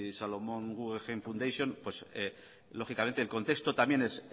solomon r guggenheim foundation lógicamente el contexto también